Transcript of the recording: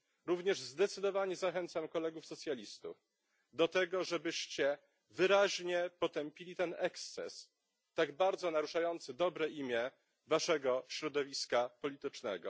Również zdecydowanie zachęcam kolegów socjalistów do tego, żeby wyraźnie potępili ten eksces tak bardzo naruszający dobre imię waszego środowiska politycznego.